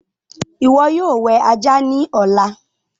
ìwo yóò wẹ ajá ní Ọlá.